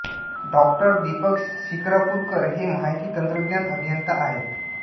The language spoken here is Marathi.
डाॅ दीपक शिकारपूरकर हे माहिती तंत्रज्ञान अभियंता आहेत